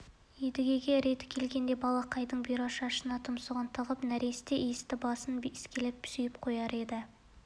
едіге реті келгенде балақайдың бұйра шашына тұмсығын тығып нәресте иісті басын иіскелеп сүйіп қояр еді